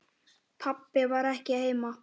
Pabbi var ekki heima.